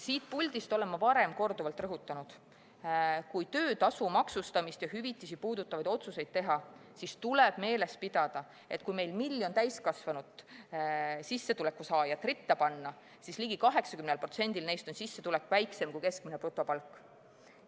Siit puldist olen ma varem korduvalt rõhutanud: kui töötasu maksustamist ja hüvitisi puudutavaid otsuseid teha, siis tuleb meeles pidada, et kui meil miljon täiskasvanut, sissetuleku saajat, ritta panna, siis ligi 80%-l neist on sissetulek väiksem kui keskmine brutopalk.